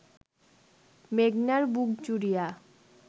মেঘনার বুক জুড়িয়া